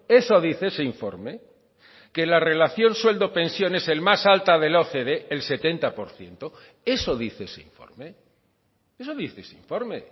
eso dice ese informe que la relación sueldo pensión es el más alta de la ocde el setenta por ciento eso dice ese informe eso dice ese informe